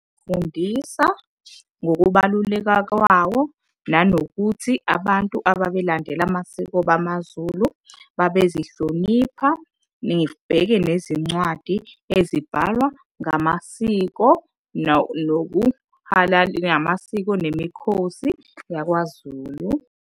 fundisa ngokubaluleka kwawo, nanokuthi abantu ababelandela amasiko bamaZulu babezihlonipha. Nibheke nezincwadi ezibhalwa ngamasiko namasiko nemikhosi yakwaZulu.